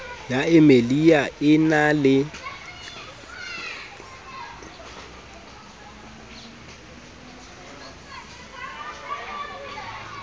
ya emia e na le